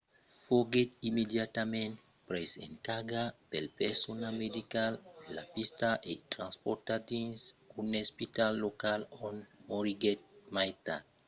foguèt immediatament pres en carga pel personal medical de la pista e transportat dins un espital local ont moriguèt mai tard